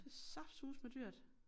Det saftsuseme dyrt